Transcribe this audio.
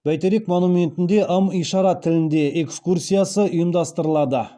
бәйтерек монументінде ым ишара тілінде экскурсиясы ұйымдастырылады